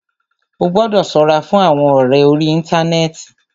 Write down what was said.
Ó gbọ́dọ̀ ṣọ́ra fún àwọn ọ̀rẹ orí íntanẹ́ẹ̀ti.